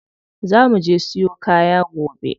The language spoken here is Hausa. Za muje siyo kaya gobe.